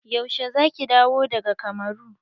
Yaushe za ki dawo daga kamuru?